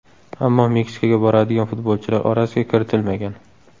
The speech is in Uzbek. Ammo Meksikaga boradigan futbolchilar orasiga kiritilmagan.